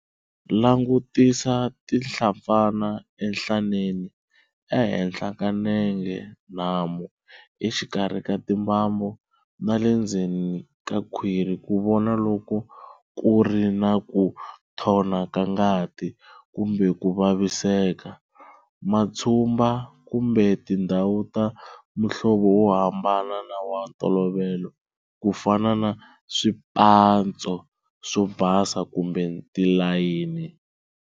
Langutisa tinhlampfana enhlaneni, ehenhla ka nenge nhamu, exikarhi ka timbambu, na le ndlela ka khwiri ku vona loko ku ri na ku thona ka ngati kumbe ku vaviseka, matshumba, kumbe tindhawu ta muhlovo wo hambana na wa ntolovelo, ku fana na swipatso swo basa kumbe tilayini.